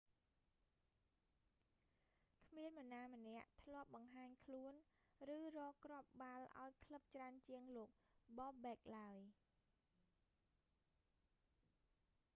គ្មាននរណាម្នាក់ធ្លាប់បង្ហាញខ្លួន ឬរកគ្រាប់បាល់ឱ្យក្លឹបច្រើនជាងលោក bobek បូបេក ឡើយ